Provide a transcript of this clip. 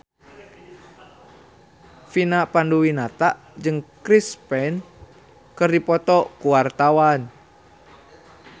Vina Panduwinata jeung Chris Pane keur dipoto ku wartawan